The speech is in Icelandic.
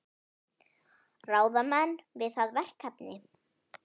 Ráða menn við það verkefni?